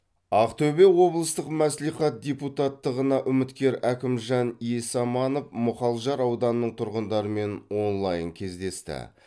ақтөбе облыстық мәслихат депутаттығына үміткер әкімжан есаманов мұхалжар ауданының тұрғындарымен онлайн кездесті